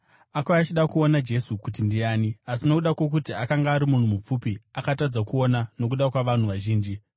Akauya achida kuona Jesu kuti ndiani, asi nokuda kwokuti akanga ari munhu mupfupi, akatadza kuona nokuda kwavanhu vazhinji.